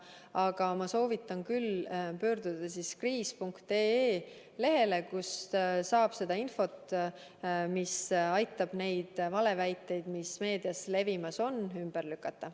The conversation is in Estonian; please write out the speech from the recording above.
Aga ma soovitan küll pöörduda veebilehele kriis.ee, kust saab seda infot, mis aitab neid valeväiteid, mis meedias levimas on, ümber lükata.